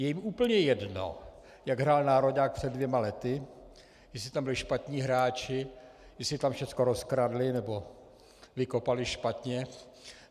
Je jim úplně jedno, jak hrál nároďák před dvěma lety, jestli tam byli špatní hráči, jestli tam všechno rozkradli nebo vykopali špatně.